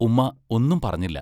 ഉമ്മാ ഒന്നും പറഞ്ഞില്ല.